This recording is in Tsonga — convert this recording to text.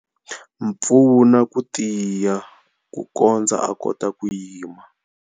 Pfuna ku tiya kukondza a kota ku yima.